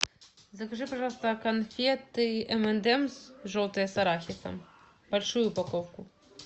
закажи пожалуйста конфеты эм энд эмс желтые с арахисом большую упаковку